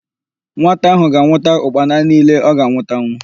Nwata ahụ ga-anwụta ụkpana niile ọ ga-anwụtanwu.